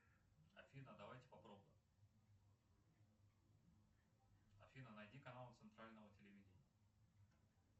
афина давайте попробуем афина найди канал центрального телевидения